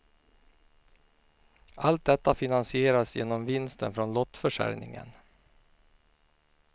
Allt detta finansieras genom vinsten från lottförsäljningen.